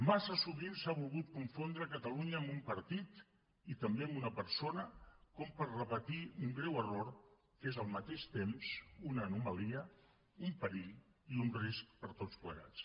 massa sovint s’ha volgut confondre catalunya amb un partit i també amb una persona com per repetir un greu error que és al mateix temps una anomalia un perill i un risc per a tots plegats